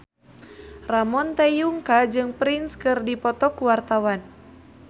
Ramon T. Yungka jeung Prince keur dipoto ku wartawan